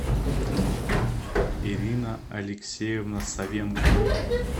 ирина алексеевна савенко